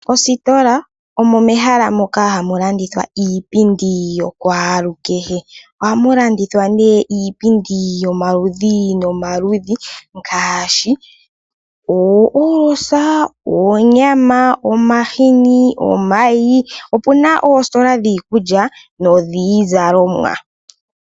Ositola omo mehala mokahamu landithwa iipindi yokwalukehe. Ohamu landithwa nee iipindi yomaludhi nomaludhi ngaashi oohoolosa, oonyama, omahini, omayi. Opu na oositola dhiikulya nodhiizalomwa.